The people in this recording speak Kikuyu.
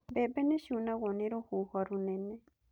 Mbebe nĩciunagwo nĩ rũhuho rũnene